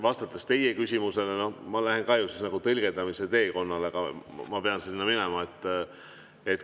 Vastates teie küsimusele, ma lähen ka tõlgendamise teekonnale, ma pean sinna minema.